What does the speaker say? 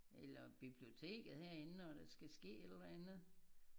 Eller biblioteket herinde når der skal ske et eller andet